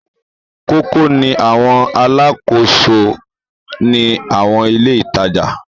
Kókó ni àwọn alákòóso ní àwọn ilé-ìtajà.